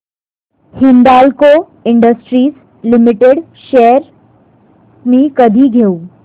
Hindalco industries limited shares मी कधी घेऊ